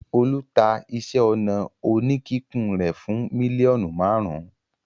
Olú ta iṣẹ́-ọnà oníkíkùn rẹ̀ fún mílíọ̀nù márùn-ún?